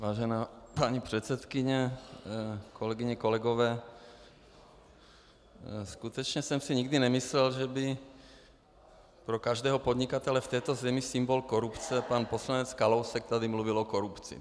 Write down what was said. Vážená paní předsedkyně, kolegyně, kolegové, skutečně jsem si nikdy nemyslel, že by pro každého podnikatele v této zemi symbol korupce pan poslanec Kalousek tady mluvil o korupci.